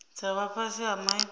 dza vha fhasi ha maitele